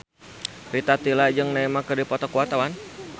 Rita Tila jeung Neymar keur dipoto ku wartawan